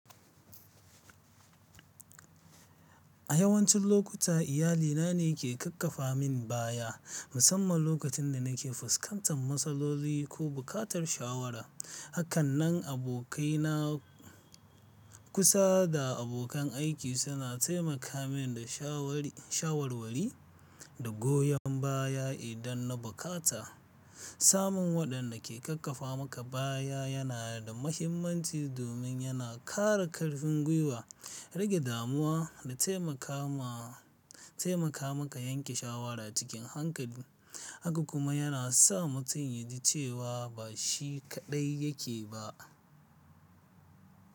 A yawancin lokuta iyalina ne ke ƙaƙƙafa min baya, musamman lokacin da nake fuskantar matsaloli ko buƙatar shawara. Hakanan, abokaina kusa da abokan aiki suna taimaka min da shawarwari da goyon baya idan na bukata. Samun waɗanda ke ƙaƙƙafa maka baya yana da mahimmanci domin yana ƙara ƙarfin gwiwa, rage damuwa da taimaka maka yanke shawara cikin hankali, haka kuma yana sa mutum ya ji cewa ba shi kaɗai yake ba.